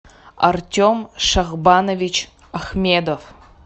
артем шахбанович ахмедов